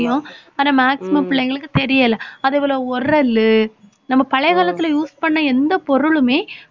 ~யும் ஆனா maximum பிள்ளைங்களுக்கு தெரியல நம்ம பழைய காலத்துல use பண்ண எந்த பொருளுமே